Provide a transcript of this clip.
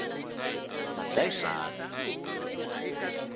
madlayisani